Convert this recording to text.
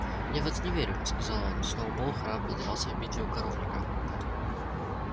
я в это не верю сказал он сноуболл храбро дрался в битве у коровника